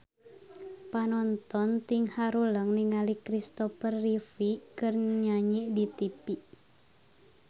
Panonton ting haruleng ningali Kristopher Reeve keur nyanyi di tipi